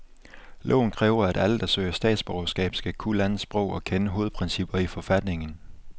Loven kræver, at alle, der søger statsborgerskab, skal kunne landets sprog og kende hovedprincipperne i forfatningen.